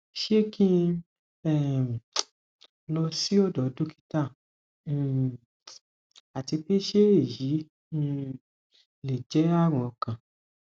se ki um n lo si odo dokita um ati pe se eyi um le je arun okan